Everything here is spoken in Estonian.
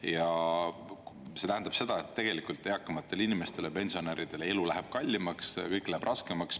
Ja see tähendab seda, et tegelikult eakamatele inimestele, pensionäridele elu läheb kallimaks ja kõik läheb raskemaks.